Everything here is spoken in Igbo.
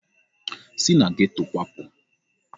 Si na geto kwapụ!